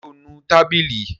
Ṣé ó nu tábìlì?